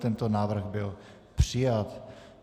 Tento návrh byl přijat.